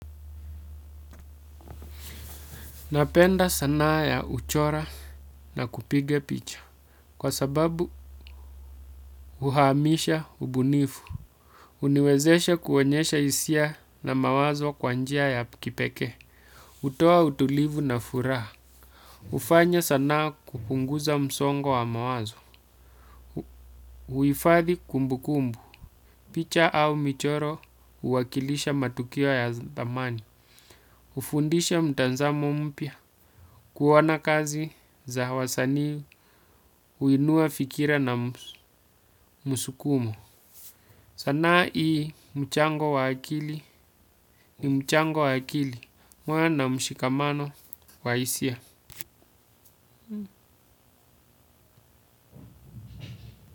Napenda sanaa ya kuchora na kupiga picha. Kwa sababu, uhamisha ubunifu. Huniwezesha kuonyesha hisia na mawazo kwa njia ya kipeke. Hutoa utulivu na furaha. Hufanya sanaa kupunguza msongo wa mawazo. Huifathi kumbu kumbu. Picha au michoro huwakilisha matukio ya zamani. Hufundisha mtazamo mpya. Kuona kazi za wasanii. Huinua fikira na msukumu o sanaa hii mchango wa akili mchango wa akili huwa na mshikamano wa hisia.